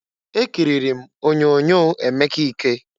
Ekiriri m onyoonyo Emeka Ike.